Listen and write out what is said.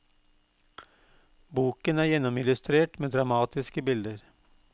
Boken er gjennomillustrert med dramatiske bilder.